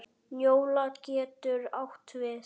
Njóla getur átt við